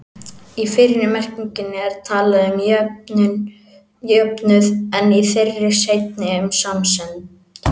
Í fyrri merkingunni er talað um jöfnuð, en í þeirri seinni um samsemd.